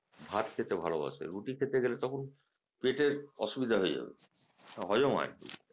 ভাত খেতে ভালবাসে রুটি খেতে গেলে তখন পেটের অসুবিধা হয়ে যাবে হজম হয়না